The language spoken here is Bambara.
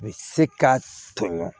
U bɛ se ka tɔɲɔgɔn